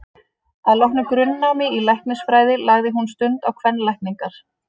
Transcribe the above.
Að loknu grunnnámi í læknisfræði lagði hún stund á kvenlækningar.